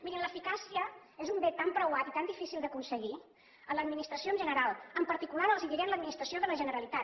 mirin l’eficàcia és un bé tan preuat i tan difícil d’aconseguir en l’administració en general en particular els diré a l’administració de la generalitat